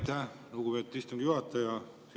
Aitäh, lugupeetud istungi juhataja!